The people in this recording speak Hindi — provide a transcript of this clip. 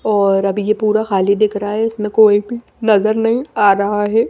और अभी ये पूरा खाली दिख रहा है इसमें कोई भी नजर नहीं आ रहा है।